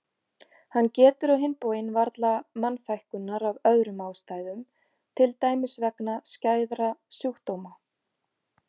Hann getur á hinn bóginn varla mannfækkunar af öðrum ástæðum til dæmis vegna skæðra sjúkdóma.